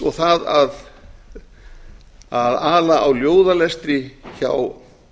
og það að ala á ljóðalestri hjá